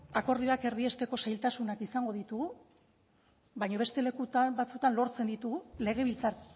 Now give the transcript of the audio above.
akordioak erdiesteko zailtasunak izango ditugu baina beste leku batzuetan lortzen ditu legebiltzar